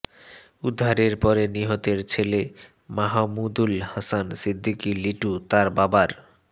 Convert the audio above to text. উদ্ধারের পরে নিহতের ছেলে মাহমুদুল হাসান সিদ্দিকী লিটু তার বাবার